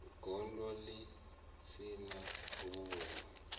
gondo ḽi si na vhuyo